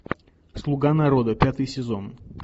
слуга народа пятый сезон